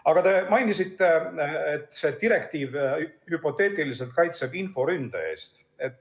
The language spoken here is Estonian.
Aga te mainisite, et see direktiiv hüpoteetiliselt kaitseb inforünde eest.